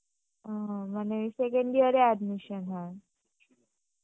হম মানে second year এ admission হয়